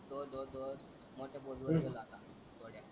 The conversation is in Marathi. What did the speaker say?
दो दो दो मोठ्या पोस्ट वर गेलो आता.